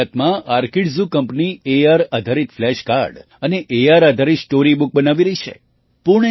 ગુજરાતમાં આર્કિડઝૂ કંપની એઆર આધારિત ફ્લેશ કાર્ડ અને એઆર આધારિત સ્ટૉરી બુક બનાવી રહી છે